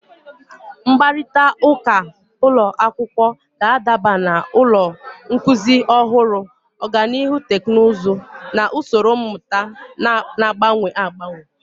Mkparịta ụka ụlọ akwụkwọ ga-adaba na ụzọ nkuzi ọhụrụ, ọganihu teknụzụ, na usoro mmụta na-agbanwe agbanwe